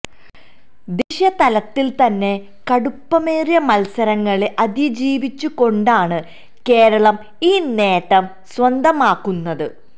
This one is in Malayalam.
ദേശീയ തലത്തിൽ തന്നെ കടുപ്പമേറിയ മത്സരങ്ങളെ അതിജീവിച്ചു കൊണ്ടാണ് കേരളം ഈ നേട്ടം സ്വന്തമാക്കുന്നത്